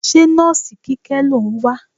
Ṣé nọ́ọ̀sì Kíkẹ́ lò ń wá?